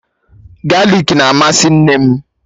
Galik na amasị nne m